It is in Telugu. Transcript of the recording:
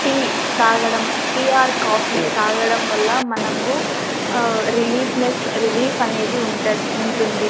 టీ తాగడం టీ ఆర్ కాఫీ తాగడం వల్ల మనకు ఆ-రిలీఫ్నెస్ రిలీఫ్ అనేది ఉంటది ఉంటుంది.